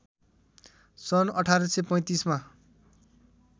सन् १८३५ मा